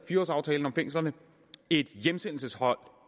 fire årsaftalen om fængslerne et hjemsendelseshold